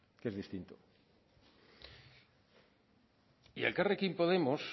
que es distinto y elkarrekin podemos